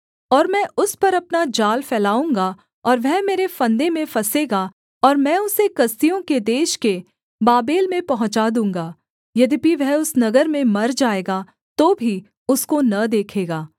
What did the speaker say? और मैं उस पर अपना जाल फैलाऊँगा और वह मेरे फंदे में फँसेगा और मैं उसे कसदियों के देश के बाबेल में पहुँचा दूँगा यद्यपि वह उस नगर में मर जाएगा तो भी उसको न देखेगा